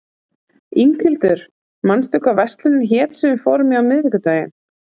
Inghildur, manstu hvað verslunin hét sem við fórum í á miðvikudaginn?